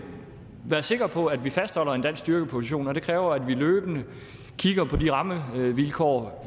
være sikre på at vi fastholder en dansk styrkeposition og det kræver at vi løbende kigger på de rammevilkår